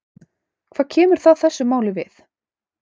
Hvað kemur það þessu máli við?